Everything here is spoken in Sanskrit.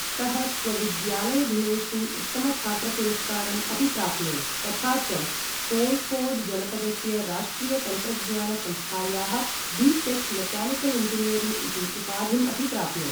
सः स्वविद्यालयदिनेषु उत्तमछात्रपुरस्कारम् अपि प्राप्नोत्, तथा च कोय़िकोड् जनपदस्य राष्ट्रिय तन्त्रज्ञान संस्थायाः बी टेक्, मेक्यानिकल् इञ्जीयरिङ्ग् इति उपाधिम् अपि प्राप्नोत्।